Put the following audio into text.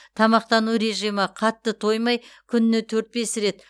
тамақтану режимі қатты тоймай күніне төрт бес рет